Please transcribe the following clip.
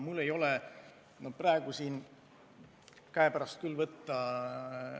Mul ei ole praegu neid andmeid käepärast võtta.